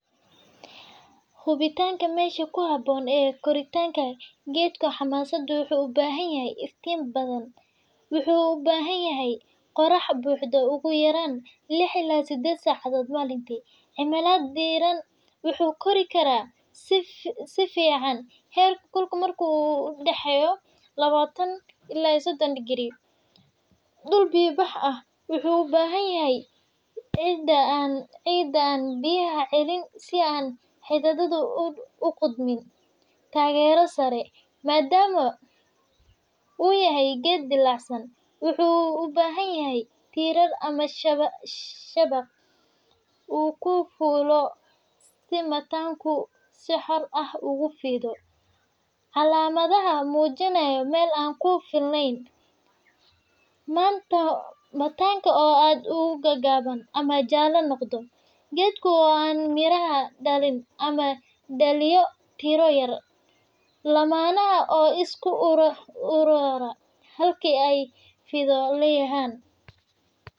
Hubintaka Meesha ku Habboon ee Koritaanka Geedka xamaasaddu wuxuu u baahan yahay Iftiin badan Wuxuu u baahan yahay qorrax buuxda ugu yaraan lix ila sideed saacadood maalintii. Cimilada diiran Wuxuu kori karaa si fiican heerkulku markuu u dhexeeyo lawatan ila iyo sodhon digrii. Dhul biyo bax ah Waxa uu u baahan yahay ciidda aan biyaha celin si aan xididadu u qudhmin. Taageero sare, Maadaama uu yahay geed dillaacsan , wuxuu u baahan yahay tiirar ama shabaq uu ku fuulo si mantaanku si xor ah ugu fido. Calaamadaha muujinaya meel aan ku filnayn, Mantaanka oo aad u gaagaaban ama jaalle noqda. Geedka oo aan miraha dhalin ama dhaliya tiro yar. Laamaha oo isku uruura halkii ay fidi lahaayeen.